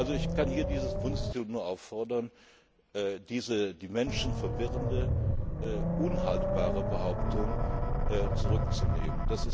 Ich kann hier dieses Bundesinstitut nur auffordern, diese die Menschen verwirrende, unhaltbare Behauptung zurückzunehmen.